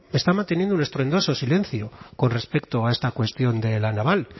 está manteniendo un estruendoso silencio con respecto a esta cuestión de la naval